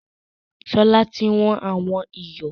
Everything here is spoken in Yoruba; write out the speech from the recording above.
Sọlá tí wọn àwọn ìyọ̀